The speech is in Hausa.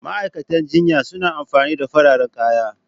Ma'aikatan jinya suna amfani da fararen kaya.